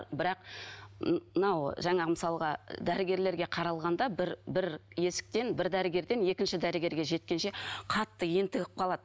бірақ мынау жаңа мысалға дәрігерлерге қаралғанда бір бір есіктен бір дәрігерден екінші дәрігерге жеткенше қатты ентігіп қалады